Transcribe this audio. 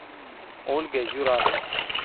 ольга юрасова